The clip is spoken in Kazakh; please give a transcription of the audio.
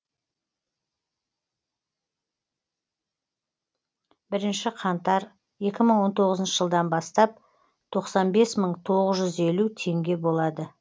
бірінші қаңтар екі мың он тоғызыншы жылдан бастап тоқсан бес мың тоғыз жүз елу теңге болады